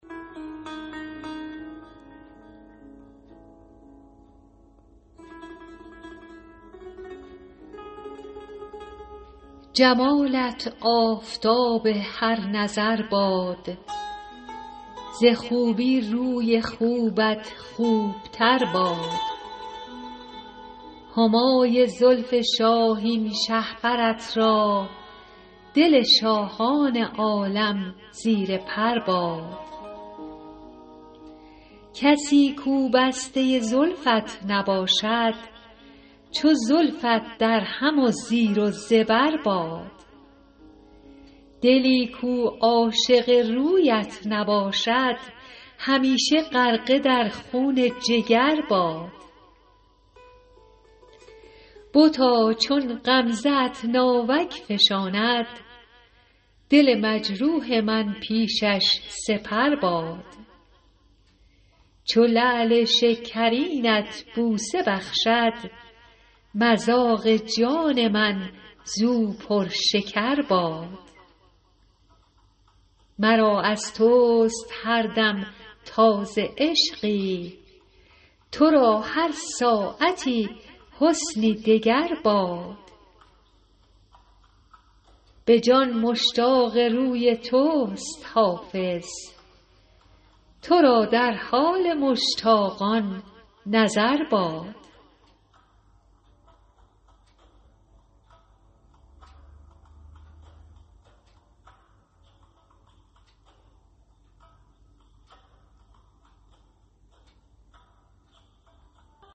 جمالت آفتاب هر نظر باد ز خوبی روی خوبت خوب تر باد همای زلف شاهین شهپرت را دل شاهان عالم زیر پر باد کسی کو بسته زلفت نباشد چو زلفت درهم و زیر و زبر باد دلی کو عاشق رویت نباشد همیشه غرقه در خون جگر باد بتا چون غمزه ات ناوک فشاند دل مجروح من پیشش سپر باد چو لعل شکرینت بوسه بخشد مذاق جان من زو پرشکر باد مرا از توست هر دم تازه عشقی تو را هر ساعتی حسنی دگر باد به جان مشتاق روی توست حافظ تو را در حال مشتاقان نظر باد